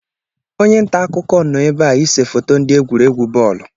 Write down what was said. Onye nta akụkọ nọ ebe a ịse foto ndị egwuregwu bọọlụ